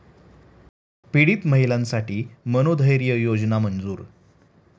पीडित महिलांसाठी 'मनोधैर्य'योजना मंजूर